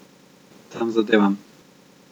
Tem zadevam.